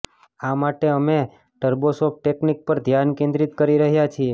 આ માટે અમે ટર્બોશોફ્ટ ટેકનિક પર ધ્યાન કેન્દ્રીત કરી રહ્યા છીએ